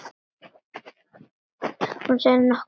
Hún seig nokkuð í.